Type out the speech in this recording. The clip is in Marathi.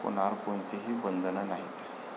मुलांवर कोणतीही बंधनं नाहीत.